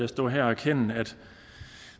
stå her og erkende at